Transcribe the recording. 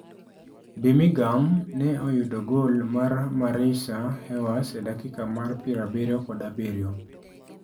Birmingham ne oyudo gol mar Marisa Ewers e dakika mar 77.